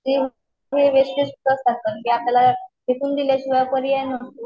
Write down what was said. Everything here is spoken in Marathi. ती फुले वेस्टेज ना ती फेकून दिल्या शिवाय पर्याय नसतो.